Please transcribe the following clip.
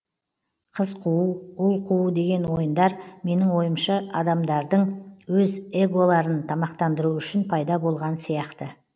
қыз қуу ұл қуу деген ойындар менің ойымша адамдардың өз эголарын тамақтандыруы үшін пайда болған сияқты